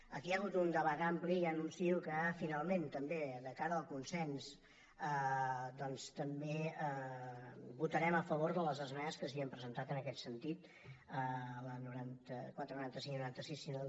aquí hi ha hagut un debat ampli i ja anuncio que finalment també de cara al consens doncs també votarem a favor de les esmenes que s’havien presentat en aquest sentit les noranta quatre noranta cinc i noranta sis si no